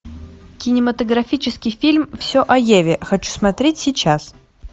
кинематографический фильм все о еве хочу смотреть сейчас